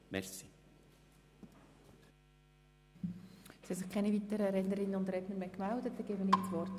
Es haben sich keine weiteren Rednerinnen und Redner gemeldet.